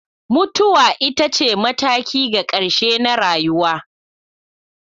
Mutuwa ita ce mataki ga ƙarshe na rayuwa.